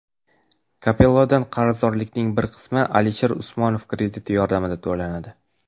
Kapellodan qarzdorlikning bir qismi Alisher Usmonov krediti yordamida to‘lanadi.